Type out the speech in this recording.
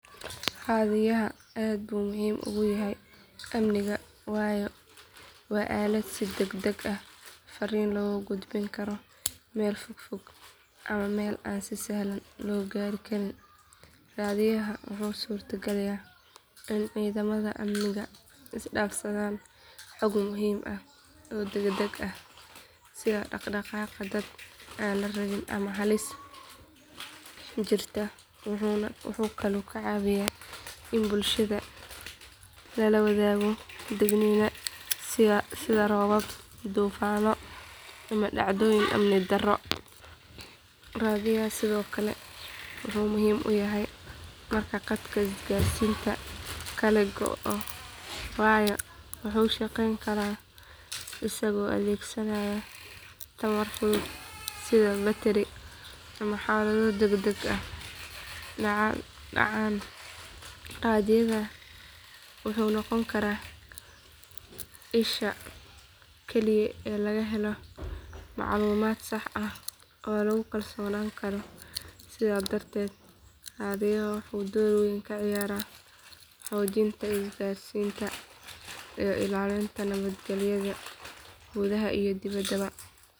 Raadiyaha aad buu muhiim ugu yahay amniga waayo waa aalad si degdeg ah fariin loogu gudbin karo meel fog ama meel aan si sahlan loo gaari karin raadiyaha wuxuu suurtageliyaa in ciidamada amniga isdhaafsadaan xog muhiim ah oo degdeg ah sida dhaq dhaqaaqa dad aan la rabin ama halis jirta wuxuuna kaloo ka caawiyaa in bulshada lala wadaago digniino sida roobab duufaanno ama dhacdooyin amni darro raadiyaha sidoo kale wuxuu muhiim u yahay marka khadka isgaarsiinta kale go’o waayo wuxuu shaqeyn karaa isagoo adeegsanaya tamar fudud sida batari marka xaalado degdeg ah dhacaan raadiyaha wuxuu noqon karaa isha kaliya ee lagu helo macluumaad sax ah oo lagu kalsoonaan karo sidaas darteed raadiyaha wuxuu door weyn ka ciyaaraa xoojinta isgaarsiinta iyo ilaalinta nabadgelyada gudaha iyo dibaddaba.